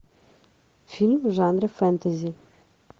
фильм в жанре фэнтези